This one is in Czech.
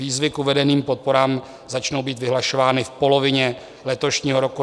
Výzvy k uvedeným podporám začnou být vyhlašovány v polovině letošního roku.